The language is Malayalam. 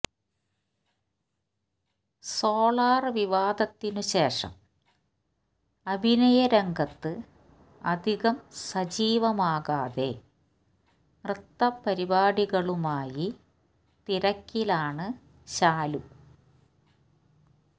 സോളാർ വിവാദത്തിനു ശേഷം അഭിനയരംഗത്ത് അധികം സജീവമാകാതെ നൃത്തപരിപാടികളുമായി തിരക്കിലാണ് ശാലു